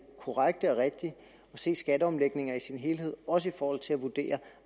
korrekte og rigtige at se skatteomlægninger i sin helhed også i forhold til at vurdere